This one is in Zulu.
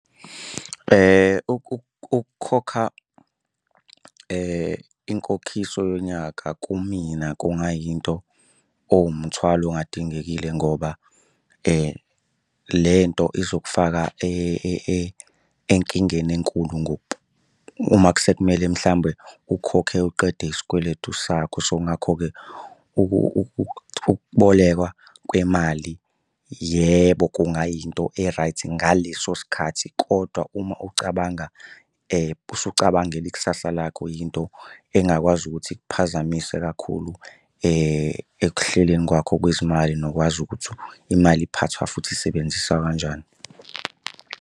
Ukukhokha inkokhiso yonyaka kumina kungayinto ewumthwalo ongadingekile ngoba le nto izokufaka enkingeni enkulu , uma sekumele mhlawumbe ukhokhe uqede isikweletu sakho. So, ngakho-ke ukubolekwa kwemali yebo kungayinto e-right ngaleso sikhathi kodwa uma ucabanga usucabangela ikusasa lakho, yinto engakwazi ukuthi ikuphazamise kakhulu ekuhleleni kwakho kwezimali nokwazi ukuthi imali iphathwa futhi isebenziswa kanjani.